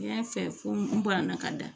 N y'a fɛ fo n banana ka da